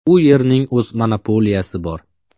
U yerning o‘z monopoliyasi bor.